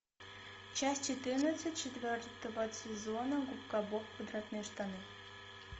часть четырнадцать четвертого сезона губка боб квадратные штаны